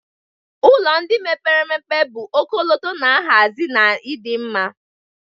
Ụlọ ndị mepere emepe bụ ọkọlọtọ na nhazi na ịdị mma